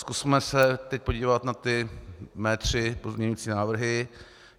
Zkusme se teď podívat na ty mé tři pozměňující návrhy.